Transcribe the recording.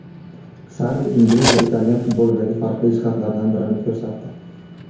Sarri ingliz va italyan futbolidagi farqli jihatlardan birini ko‘rsatdi.